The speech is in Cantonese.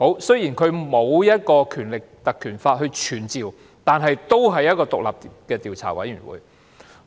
雖然它不是根據《立法會條例》而成立，但也是一個獨立的委員會。